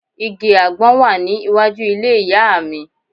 Igi àgbọn wà ní iwájú ilé ìyá à mi